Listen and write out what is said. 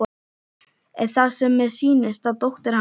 Er það sem mér sýnist að dóttir hans